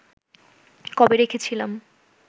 করে রেখেছিলাম